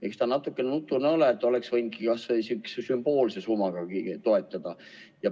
Eks ta natuke nutune ole, oleks võinud kas või sümboolse summagagi toetada.